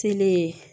Selen